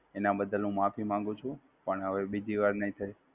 એનાં બદ્દદલ હું માફી માંગુ છું, પણ હવે બીજી નહિ થાય.